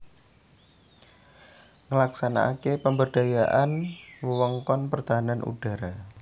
Nglaksanakaké pemberdayaan wewengkon pertahanan udhara